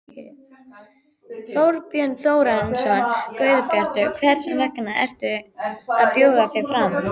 Þorbjörn Þórðarson: Guðbjartur, hvers vegna ertu að bjóða þig fram?